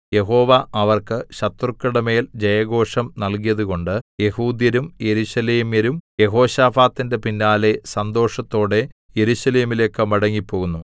യഹോവ അവർക്ക് ശത്രുക്കളുടെമേൽ ജയഘോഷം നല്കിയതുകൊണ്ട് യെഹൂദ്യരും യെരൂശലേമ്യരും യെഹോശാഫാത്തിന്റെ പിന്നാലെ സന്തോഷത്തോടെ യെരൂശലേമിലേക്ക് മടങ്ങിപ്പോന്നു